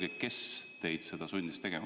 Öelge, kes teid sundis seda tegema?